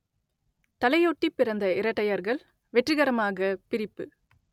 தலை ஒட்டிப் பிறந்த இரட்டையர்கள் வெற்றிகரமாகப் பிரிப்பு